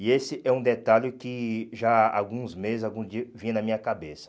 E esse é um detalhe que já há alguns meses, algum dia, vinha na minha cabeça.